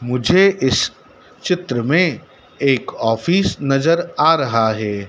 मुझे इस चित्र में एक ऑफिस नजर आ रहा है।